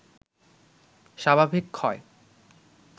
স্বাভাবিক ক্ষয়